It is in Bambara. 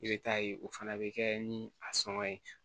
I bɛ taa ye o fana bɛ kɛ ni a sɔngɔ ye